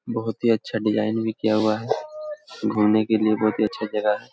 बहुत ही अच्छा डिज़ाइन भी किया हुआ है घूमे के लिए बहुत ही अच्छा जगह है।